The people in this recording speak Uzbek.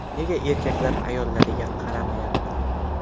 Nega erkaklar ayollariga qaramayapti?